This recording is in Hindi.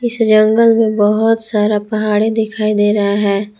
इस जंगल में बहुत सारा पहाड़ी दिखाई दे रहा है।